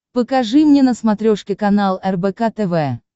покажи мне на смотрешке канал рбк тв